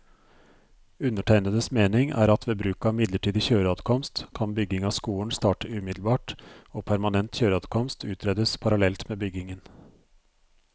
Undertegnedes mening er at ved bruk av midlertidig kjøreadkomst, kan bygging av skolen starte umiddelbart og permanent kjøreadkomst utredes parallelt med byggingen.